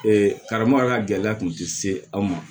karamɔgɔ yɛrɛ gɛlɛya kun te se anw ma